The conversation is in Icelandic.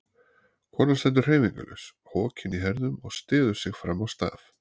Konan stendur hreyfingarlaus, hokin í herðum og styður sig fram á staf.